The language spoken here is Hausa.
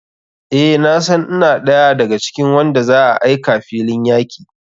Eh nasan ina ɗaya da ga cikin wanda za a aika filin yaki.